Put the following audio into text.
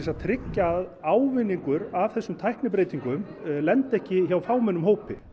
að tryggja að ávinningur af þessum tæknibreytingum lendi ekki hjá fámennum hópi